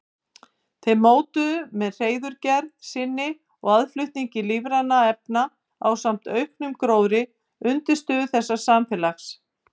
Þeir mótuðu með hreiðurgerð sinni og aðflutningi lífrænna efna ásamt auknum gróðri undirstöðu þessa samfélags.